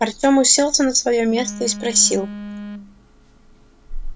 артём уселся на своё место и спросил